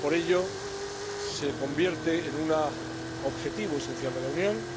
Por ello, se convierte en un objetivo esencial de la Unión,